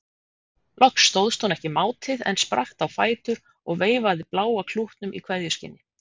Loks stóðst hún ekki mátið en spratt á fætur og veifaði bláa klútnum í kveðjuskyni.